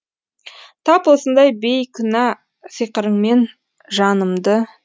тап осындай бейкүнә сиқырыңмен жанымды